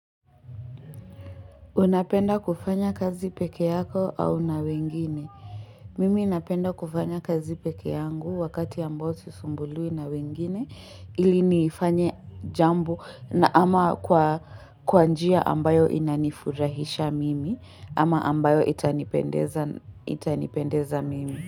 Unapenda kufanya kazi peke yako au na wengine. Mimi napenda kufanya kazi peke yangu wakati ambao sisumbuliwi na wengine. Ili nifanye jambo na ama kwa kwabnjia ambayo inanifurahisha mimi ama ambayo itanipendeza mimi.